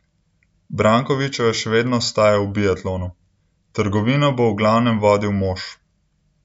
Brankovičeva še vedno ostaja v biatlonu: 'Trgovino bo v glavnem vodil mož.